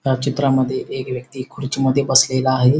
या चित्रामध्ये एक व्यक्ति खुडचीमध्ये बसलेला आहे.